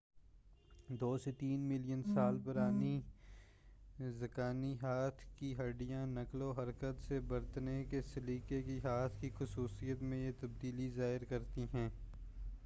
دو سے تین ملین سال پرانی رکازی ہاتھ کی ہڈّیاں نقل و حرکت سے برتنے کے سلیقے کی ہاتھ کی خصوصیت میں یہ تبدیلی ظاہر کرتی ہیں